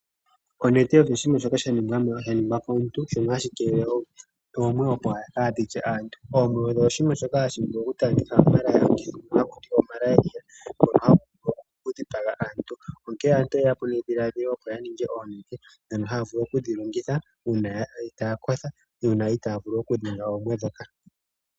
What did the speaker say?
Onete oyo oshinima shoka hashi ningwa komuntu shono hashi keelele oomwe opo kaadhi lye aantu. Oomwe odho oshinima shoka hashi vuku oku taandelekitha omukithi ngoka naku tiwa o malaria ngono hagu vulu oku dhipaga aantu. Aantu oye ya po nedhiladhilo lyoku ninga onete uuna ye wete itaya kotha uuna itaya vulu okudhenga oomwe ndhoka.